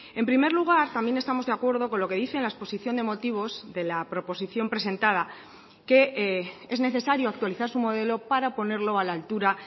en primer lugar también estamos de acuerdo con lo que dice en la exposición de motivos de la proposición presentada que es necesario actualizar su modelo para ponerlo a la altura